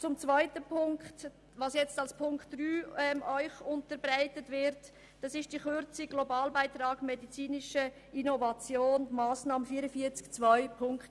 Zum zweiten Punkt, der Ihnen als Ziffer 3 unterbreitet wird: Es geht um die Kürzung des Globalbeitrags medizinische Innovation gemäss Massnahme 44.2.6.